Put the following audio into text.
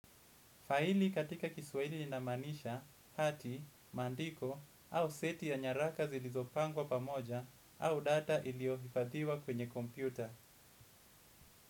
Faili katika kiswahili linamaanisha, hati, maandiko au seti ya nyaraka zilizopangwa pamoja au data iliyohifadhiwa kwenye kompyuta.